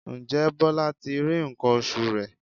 Ǹjẹ́ Bọlá ti rí nǹkan oṣù rẹ̀?